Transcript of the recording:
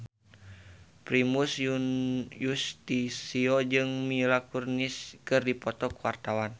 Primus Yustisio jeung Mila Kunis keur dipoto ku wartawan